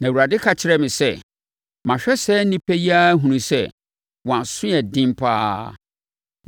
Na Awurade ka kyerɛɛ me sɛ, “Mahwɛ saa nnipa yi ara ahunu sɛ, wɔn aso yɛ den pa ara.